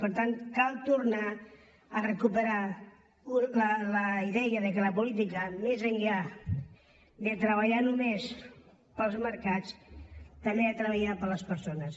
per tant cal tornar a recuperar la idea que la política més enllà de treballar només per als mercats també ha de treballar per a les persones